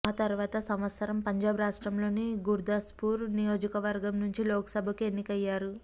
ఆతర్వాత సంవత్సరం పంజాబ్ రాష్ట్రంలోని గుర్దాస్పూర్ నియోజకవర్గం నుంచి లోక్సభకు ఎన్నికయ్యారు